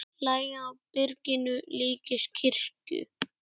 Lagið á byrginu líkist kirkju.